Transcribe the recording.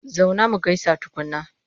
Zauna mu gaisa tukunna!